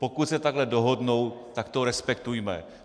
Pokud se takto dohodnou, tak to respektujme.